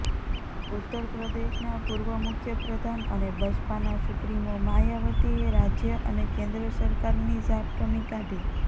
ઉત્તર પ્રદેશના પૂર્વ મુખ્યપ્રધાન અને બસપાના સુપ્રીમો માયાવતીએ રાજ્ય અને કેન્દ્ર સરકારની ઝાટકમી કાઢી